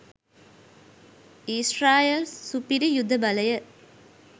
ඊශ්‍රායල් සුපිරි යුධ බලය